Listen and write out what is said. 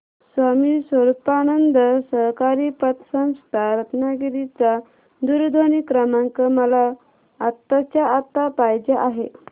स्वामी स्वरूपानंद सहकारी पतसंस्था रत्नागिरी चा दूरध्वनी क्रमांक मला आत्ताच्या आता पाहिजे आहे